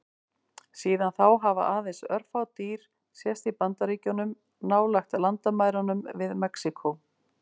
Síðan þá hafa aðeins örfá dýr sést í Bandaríkjunum, nálægt landamærunum við Mexíkó.